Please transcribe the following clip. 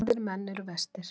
Vígðir menn eru verstir.